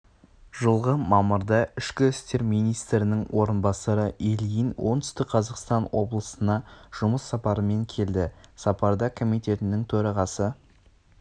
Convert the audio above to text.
жылғы мамырда ішкі істер министрінің орынбасары ильин оңтүстік қазақстан облысына жұмыс сапарымен келді сапарда комитетінің төрағасы